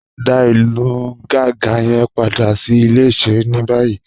Dá ilù Gànga yẹn padà sí ilẹ̀-ìṣẹ̀rẹ̀ ni bayìí